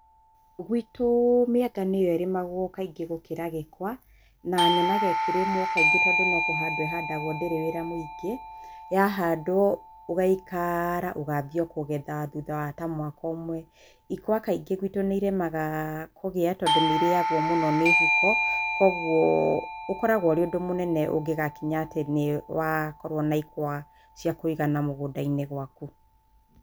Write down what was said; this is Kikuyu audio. Gwitũ mĩanga nĩyo ĩrĩmagwo kaingĩ gũkĩra gĩkwa na nyonaga ĩkĩrĩmwo kaingĩ tondũ no kũhandwo ĩhandagwo ndĩrĩ wĩra mũingĩ, ya handwo ũgaikara ũgathie o kũgetha thutha ta wa mwaka ũmwe. ikwa kaingĩ gwĩtũ nĩiremaga kũgĩa tondũ nĩirĩyagwo mũno nĩ huko koguo ũkoragwo ũrĩ ũndũ mũnene ũngĩgakinya atĩ nĩ wakorwo na ikwa cia kũigana mũgũnda-inĩ waku.